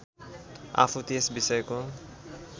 आफू त्यस विषयको